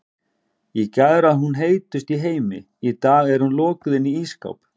Í gær var hún heitust í heimi, í dag er hún lokuð inni í ísskáp.